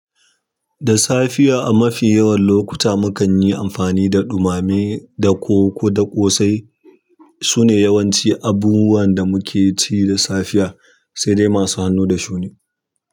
Da safiya a mafi yawan lokuta mukan yi amfani da ɗumame da ko ko da ƙo sai. Sune yawanci abubuwan da muke ci da safiya sai dai masu hannu da shuni.